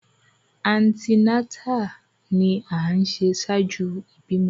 Antinatali ni a ṣe ṣaaju ibimọ